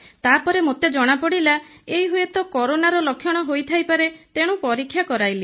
ତାପରେ ମୋତେ ଜଣାପଡ଼ିଲା ଏଇ ହୁଏତ କରୋନାର ଲକ୍ଷଣ ହୋଇଥାଇପାରେ ତେଣୁ ପରୀକ୍ଷା କରାଇଲି